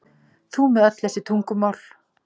Þú með öll þessi tungumál.